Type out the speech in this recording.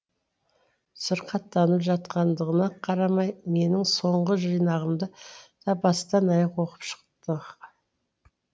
сырқаттанып жатқандығыңа қарамай менің соңғы жинағымды да бастан аяқ оқып шықты